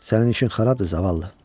Sənin işin xarabdır, zavallı.